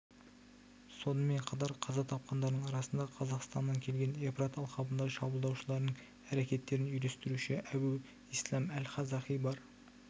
сонымен қатар қаза тапқандардың арасында қазақстаннан келген евфрат алқабындағы шабуылдаушыларының әрекеттерін үйлестіруші әбу исләм әл-қазақи бар